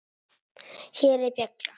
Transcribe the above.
Hér er bjalla.